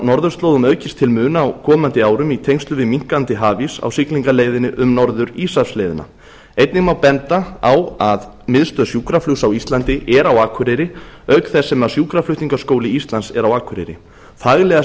norðurslóðum aukist til muna á komandi árum í tengslum við minnkandi hafís á siglingaleiðinni um norður íshafsleiðina einnig má benda á að miðstöð sjúkraflugs á íslandi er á akureyri auk þess sem sjúkraflutningaskóli íslands er á akureyri faglega